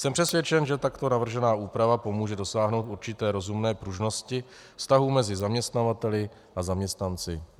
Jsem přesvědčen, že takto navržená úprava pomůže dosáhnout určité rozumné pružnosti vztahů mezi zaměstnavateli a zaměstnanci.